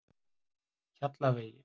Hjallavegi